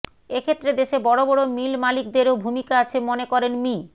এক্ষেত্রে দেশে বড় বড় মিল মালিকদেরও ভূমিকা আছে মনে করেন মি